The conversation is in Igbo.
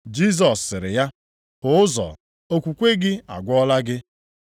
Jisọs sịrị ya, “Hụ ụzọ, okwukwe gị agwọọla gị.”